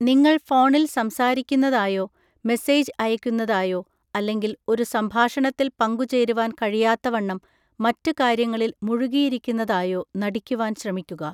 നിങ്ങൾ ഫോണിൽ സംസാരിക്കുന്നതായോ, മെസ്സേജ് അയയ്‌ക്കുന്നതായോ, അല്ലെങ്കിൽ ഒരു സംഭാഷണത്തിൽ പങ്കുചേരുവാൻ കഴിയാത്തവണ്ണം മറ്റുകാര്യങ്ങളിൽ മുഴുകിയിരിക്കുന്നതായോ നടിക്കുവാൻ ശ്രമിക്കുക.